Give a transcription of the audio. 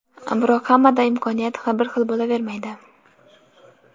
Biroq hammada ham imkoniyat bir xil bo‘lavermaydi.